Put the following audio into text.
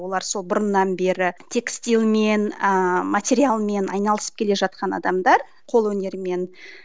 олар сол бұрыннан бері тестильмен ыыы материалмен айналысып келе жатқан адамдар қолөнермен